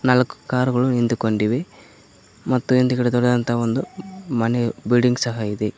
ನಾಲಕು car ಗಳು ನಿಂತು ಕೊಂಡಿವೆ ಮತ್ತು ಹಿಂದಗಡೆ ದೊಡ್ಡದಾದಂಥ ಒಂದು ಮನೆ ಬಿಲ್ಡಿಂಗ್ ಸಹ ಇದೆ.